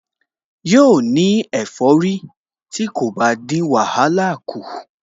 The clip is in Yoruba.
Yóò ní ẹ̀fọ́rí tí kò bá dín wàhálà kù